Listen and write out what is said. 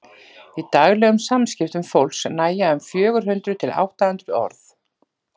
í daglegum samskiptum fólks nægja um fjögur hundruð til átta hundruð orð